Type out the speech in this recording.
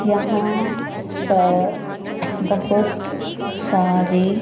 यहां पर बहोत सारे--